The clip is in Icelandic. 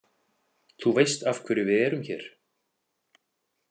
Þú veist af hverju við erum hér?